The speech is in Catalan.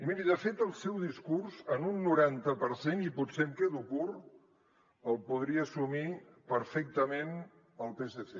i miri de fet el seu discurs en un noranta per cent i potser em quedo curt el podria assumir perfectament el psc